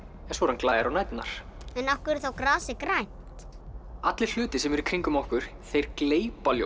svo er hann glær á næturnar af hverju er grasið grænt allir hlutir sem eru í kringum okkur gleypa ljós